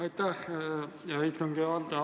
Aitäh, hea istungi juhataja!